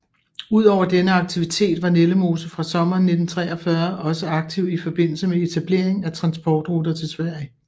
Ud over denne aktivitet var Nellemose fra sommeren 1943 også aktiv i forbindelse med etablering af transportruter til Sverige